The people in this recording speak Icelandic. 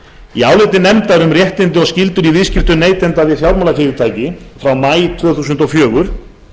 í áliti nefndar um réttindi og skyldur í viðskiptum neytenda við fjármálafyrirtæki frá maí tvö þúsund og fjögur